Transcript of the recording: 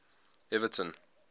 everton